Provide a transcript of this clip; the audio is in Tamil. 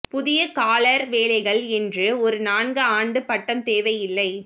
புதிய காலர் வேலைகள் என்று ஒரு நான்கு ஆண்டு பட்டம் தேவை இல்லை